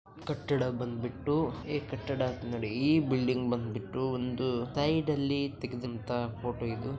ಕಟ್ಟಡ ಬಂದ್ಬಿಟ್ಟು ಈ ಕಟ್ಟಡ ನೋಡಿ ಈ ಬಿಲ್ಡಿಂಗ್ ಬಂದ್ಬಿಟ್ಟು ಒಂದು ಸೈಡ್ ಅಲ್ಲಿ ತೆಗೆದಂತಹ ಫೋಟೋ ಇದು.